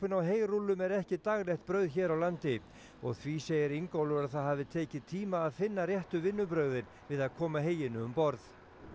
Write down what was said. á heyrúllum er ekki daglegt brauð hér á landi og því segir Ingólfur að það hafi tekið tíma að finna réttu vinnubrögðin við að koma heyinu um borð